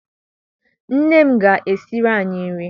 Nne m ga- esiri anyị nri.